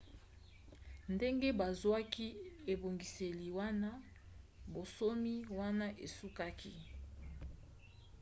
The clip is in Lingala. ndenge bazwaki ebongiseli wana bonsomi wana esukaki